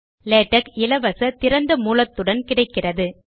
LaTeX இலவச திறந்த மூலத்துடன் கிடைக்கிறது